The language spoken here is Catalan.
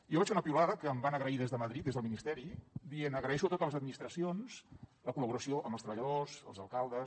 jo vaig fer una piulada que em van agrair des de madrid des del ministeri dient agraeixo a totes les administracions la col·laboració amb els treballadors els alcaldes